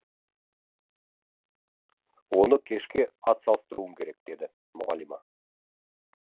оны кешке атсалыстыруым керек деді мұғалима